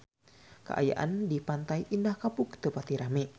Kaayaan di Pantai Indah Kapuk teu pati rame